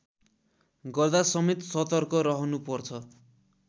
गर्दासमेत सतर्क रहनुपर्छ